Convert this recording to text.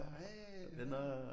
Hva så hey